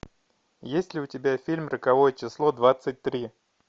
есть ли у тебя фильм роковое число двадцать три